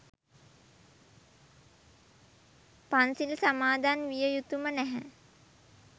පන්සිල් සමාදන්විය යුතුම නැහැ.